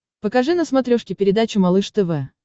покажи на смотрешке передачу малыш тв